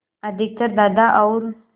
अधिकतर दादा और